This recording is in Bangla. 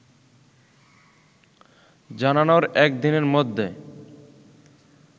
জানানোর একদিনের মধ্যে